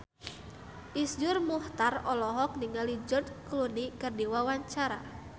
Iszur Muchtar olohok ningali George Clooney keur diwawancara